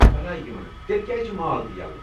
بلایہ یِمن ! تیٚلہِ کیٛازِ چھِ مال تہِ یلہٕ؟